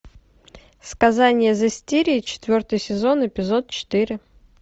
сказание зестирии четвертый сезон эпизод четыре